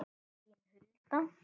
Þín Hulda.